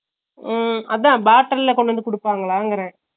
ஹம் அதா bottle ல கொண்டுவந்து குடுப்பாங்கலாண்ட்ரே